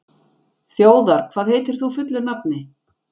Þjóðar, hvað heitir þú fullu nafni?